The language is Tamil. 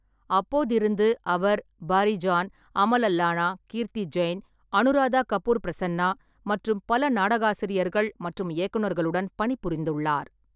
அப்போதிருந்து, அவர் பாரி ஜான், அமல் அல்லானா, கீர்த்தி ஜெயின், அனுராதா கபூர் பிரசன்னா மற்றும் பல நாடகாசிரியர்கள் மற்றும் இயக்குனர்களுடன் பணிபுரிந்துள்ளார்.